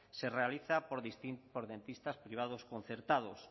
se realiza por dentistas privados concertados